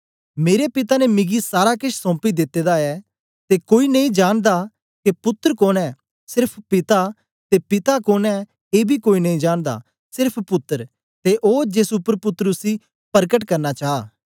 मेरे पिता ने मिगी सारा केछ सौंपी दिते दा ऐ ते कोई नेई जानदा के पुत्तर कोन ऐ सेर्फ पिता ते पिता कोन ऐ एबी कोई नेई जानदा सेर्फ पुत्तर ते ओ जेस उपर पुत्तर उसी परकट करना चा